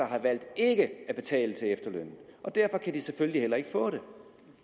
har valgt ikke at betale til efterlønnen og derfor kan de selvfølgelig heller ikke få den